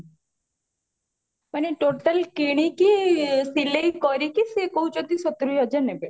ମାନେ totally କିଣିକି ସିଲେଇ କରିକି ସିଏ କହୁଚନ୍ତି ସତୁରୀ ହଜାର ନେବେ